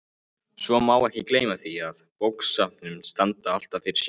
Svo má ekki gleyma því að bókasöfn standa alltaf fyrir sínu.